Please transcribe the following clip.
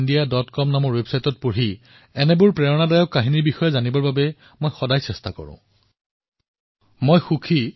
মোক কিছুমান লোকে কৈছে যে কিছুদিন পূৰ্বে মধ্যপ্ৰদেশৰ জব্বলপুৰত একেসময়তে তিনিলাখত কৈও অধিক লোকে স্বচ্ছতা অভিযানৰ সৈতে জড়িত হৈছে